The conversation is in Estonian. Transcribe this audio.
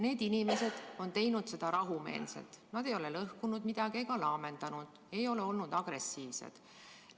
Need inimesed on teinud seda rahumeelselt, nad ei ole lõhkunud midagi ega laamendanud, ei ole olnud agressiivsed.